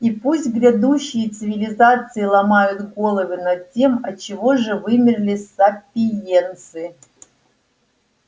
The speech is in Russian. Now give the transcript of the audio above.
и пусть грядущие цивилизации ломают головы над тем отчего же вымерли сапиенсы